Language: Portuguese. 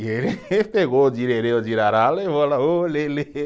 E ele pegou ô direrê, ô dirará, levou lá ô lelê.